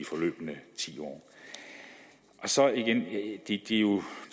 forløbne ti år så igen det er jo